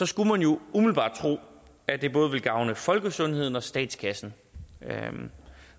skulle man jo umiddelbart tro at det både ville gavne folkesundheden og statskassen